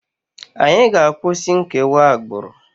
Anyị ga-akwụsị nkewa agbụrụ!